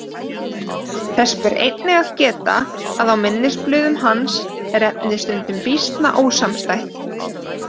Þess ber einnig að geta að á minnisblöðum hans er efnið stundum býsna ósamstætt.